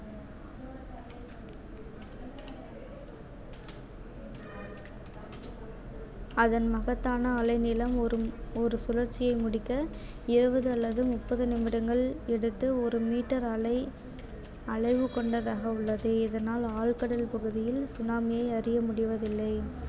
அதன் மகத்தான அலை நிளம் ஒரு ஒரு சுழற்சியை முடிக்க இருவது அல்லது முப்பது நிமிடங்கள் எடுத்து ஒரு மீட்டர் அலை அளவு கொண்டதாக உள்ளது இதனால் ஆழ்கடல் பகுதியில் tsunami யை அறியமுடிவதில்லை